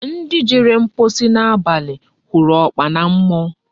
Ndi Jere mkposi na abali huru okpana mmuo